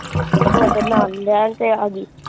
ਉਹ ਤਾਂ ਨਾਲ ਲੈਣ ਤੇ ਆ ਗਈ।